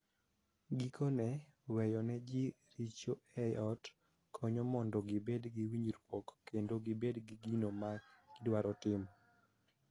Gikone, weyo ne ji richo e ot konyo mondo gibed gi winjruok kendo gibed gi gino ma gidwaro timo.